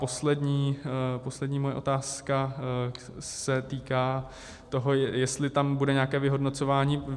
Poslední moje otázka se týká toho, jestli tam bude nějaké vyhodnocování.